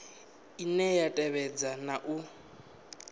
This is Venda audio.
ine ya tevhedza na u